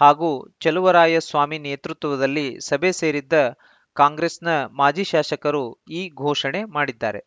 ಹಾಗೂ ಚಲುವರಾಯಸ್ವಾಮಿ ನೇತೃತ್ವದಲ್ಲಿ ಸಭೆ ಸೇರಿದ್ದ ಕಾಂಗ್ರೆಸ್‌ನ ಮಾಜಿ ಶಾಸಕರು ಈ ಘೋಷಣೆ ಮಾಡಿದ್ದಾರೆ